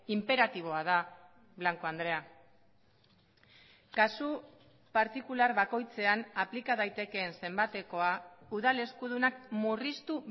inperatiboa da blanco andrea kasu partikular bakoitzean aplika daitekeen zenbatekoa udal eskudunak murriztu